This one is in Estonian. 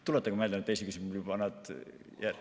Tuletage meelde neid teisi küsimusi.